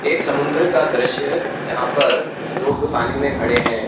एक समुंदर का दृश्य है जहां पर लोग पानी में खड़े हैं|